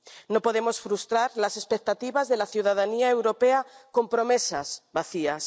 No podemos frustrar las expectativas de la ciudadanía europea con promesas vacías.